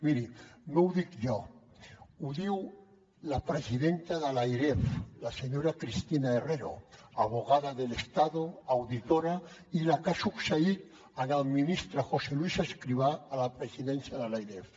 miri no ho dic jo ho diu la presidenta de l’airef la senyora cristina herrero abogada del estado auditora i la que ha succeït el ministre josé luis escrivá a la presidència de l’airef